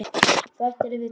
Þú ættir að vita betur.